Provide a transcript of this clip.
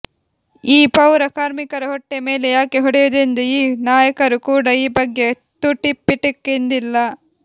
ಈ ಪೌರ ಕಾರ್ಮಿಕರ ಹೊಟ್ಟೆ ಮೇಲೆ ಯಾಕೆ ಹೊಡೆಯುವುದೆಂದು ಈ ನಾಯಕರು ಕೂಡ ಈ ಬಗ್ಗೆ ತುಟಿ ಪಿಟಿಕ್ ಎಂದಿಲ್ಲ